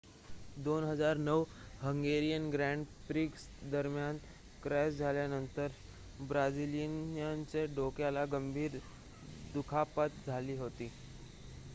2009 Hungarian Grand Prix दरम्यान crash झाल्यानंतर ब्राझिलियनच्या डोक्याला गंभीर दुखापत झाली होती